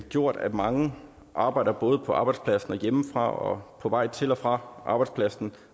gjort at mange arbejder på både arbejdspladsen og hjemmefra og på vej til og fra arbejdspladsen